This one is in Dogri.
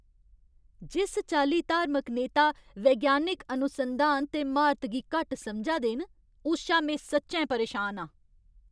जिस चाल्ली धार्मिक नेता वैज्ञानिक अनुसंधान ते म्हारत गी घट्ट समझा दे न, उस शा में सच्चैं परेशान आं।